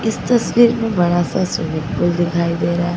इस तस्वीर मे बड़ा सा स्विमिंग पूल दिखाई दे रहा--